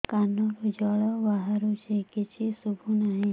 କାନରୁ ଜଳ ବାହାରୁଛି କିଛି ଶୁଭୁ ନାହିଁ